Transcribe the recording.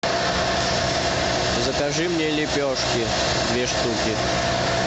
закажи мне лепешки две штуки